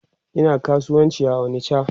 Ina kasuwanci a onicha